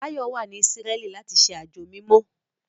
Báyọ̀ wà ní Ísírẹ́lì láti ṣe àjò mímọ́